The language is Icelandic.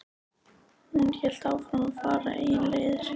Hún hélt áfram að fara eigin leiðir.